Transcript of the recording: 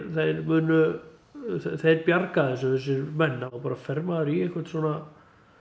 munu þeir bjarga þessu þessir menn þá bara fer maður í einhvern svona